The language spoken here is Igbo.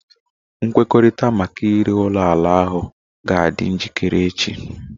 Nkwekọrịta maka ire ulo ala ahu o ga-adị njikere echi?